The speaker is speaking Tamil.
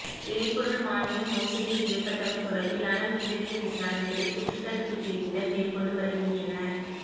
எரிபொருள் மானியம் மோசடி செய்யப்பட்டமை தொடர்பிலான மேலதிக விசாரணைகளை குற்றத் தடுப்பு பிரிவினர் மேற்கொண்டு வருகின்றனர்